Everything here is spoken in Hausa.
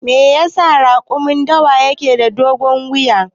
Me yasa raƙumin dawa yake da dogon wuya?